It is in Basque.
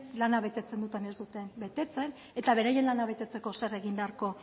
lana betetzen duten ala ez duten betetzen eta beraien lana betetzeko zer egin beharko